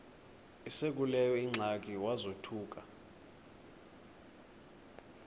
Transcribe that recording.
esekuleyo ingxaki wazothuka